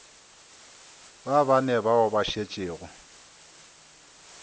ba bane bao ba šetšego